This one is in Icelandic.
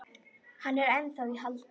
Er hann ennþá í haldi?